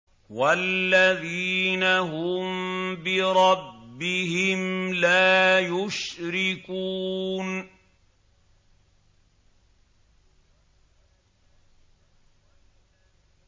وَالَّذِينَ هُم بِرَبِّهِمْ لَا يُشْرِكُونَ